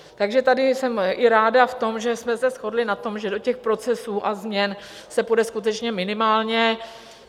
Takže tady jsem i ráda v tom, že jsme se shodli na tom, že do těch procesů změn a se půjde skutečně minimálně.